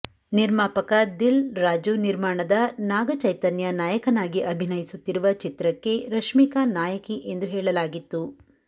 ನಿರ್ಮಾಪಕ ದಿಲ್ ರಾಜು ನಿರ್ಮಾಣದ ನಾಗ ಚೈತನ್ಯ ನಾಯಕನಾಗಿ ಅಭಿನಯಿಸುತ್ತಿರುವ ಚಿತ್ರಕ್ಕೆ ರಶ್ಮಿಕಾ ನಾಯಕಿ ಎಂದು ಹೇಳಲಾಗಿತ್ತು